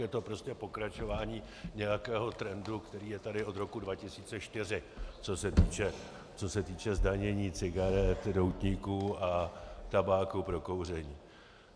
Je to prostě pokračování nějakého trendu, který je tady od roku 2004, co se týče zdanění cigaret, doutníků a tabáku pro kouření.